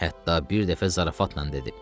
Hətta bir dəfə zarafatla dedi: